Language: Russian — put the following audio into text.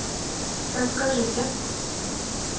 расскажите